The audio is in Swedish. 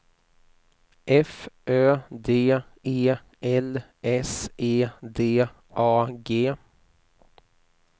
F Ö D E L S E D A G